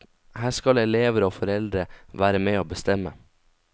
Her skal elever og foreldre være med å bestemme.